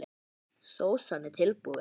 Sósan er tilbúin.